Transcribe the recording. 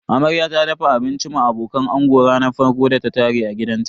Amarya ta dafa abincin ma abokan ango ranar farkon da ta tare a gidanta.